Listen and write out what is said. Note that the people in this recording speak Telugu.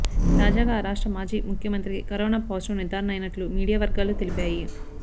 తాజాగా ఆ రాష్ట్ర మాజీ ముఖ్యమంత్రికి కరోనా పాజిటివ్ నిర్ధారణ అయినట్లు మీడియా వర్గాలు తెలిపాయి